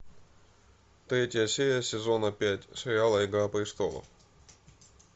третья серия сезона пять сериала игра престолов